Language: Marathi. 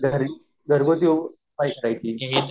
घरगुती उपाय करायची